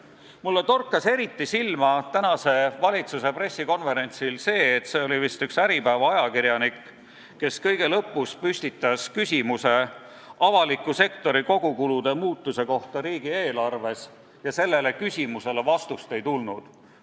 Mulle torkas tänasel valitsuse pressikonverentsil eriti silma see, et kui üks vist Äripäeva ajakirjanik kõige lõpus küsis avaliku sektori kogukulude muutuse kohta riigieelarves, siis sellele vastust ei tulnud.